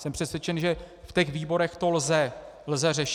Jsem přesvědčen, že v těch výborech to lze řešit.